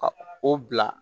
Ka o bila